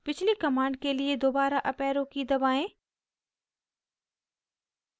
पिछली command के लिए दोबारा अप arrow की दबाएं